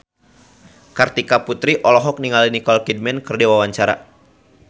Kartika Putri olohok ningali Nicole Kidman keur diwawancara